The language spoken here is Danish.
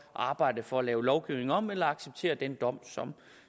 arbejde for at lave lovgivningen om eller acceptere den dom